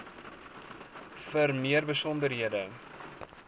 vir meer besonderhede